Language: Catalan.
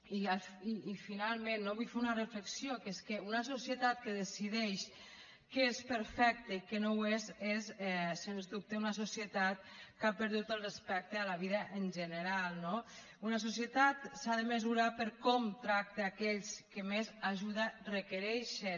i finalment vull fer una reflexió que és que una societat que decideix què és perfecte i què no ho és és sens dubte una societat que ha perdut el respecte a la vida en general no una societat s’ha de mesurar per com tracta aquells que més ajuda requereixen